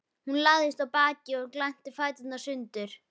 Hún lagðist á bakið og glennti fæturna sundur.